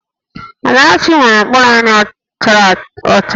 Amarachi nwere mkpụrụ anya chara ọcha